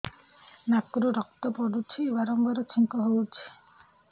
ନାକରୁ ରକ୍ତ ପଡୁଛି ବାରମ୍ବାର ଛିଙ୍କ ହଉଚି